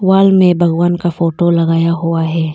Wall में भगवान का फोटो लगाया हुआ है।